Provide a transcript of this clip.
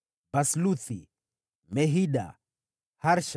wazao wa Basluthi, Mehida, Harsha,